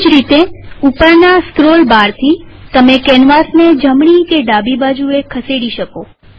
એવી જ રીતેઉપરના સ્ક્રોલ બારથી તમે કેનવાસને જમણી કે ડાબી બાજુએ ખસેડી શકો